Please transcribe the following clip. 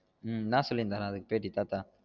ஹம் என்ன சொல்லிருந்தாரு அதுக்கு பேட்டி தாத்தா